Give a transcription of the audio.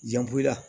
Jango i la